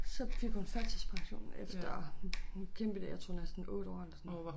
Så fik hun førtidspension efter kæmpet det jeg tror næsten 8 år eller sådan noget